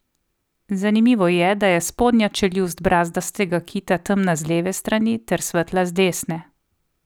Zanimivo je, da je spodnja čeljust brazdastega kita temna z leve strani ter svetla z desne.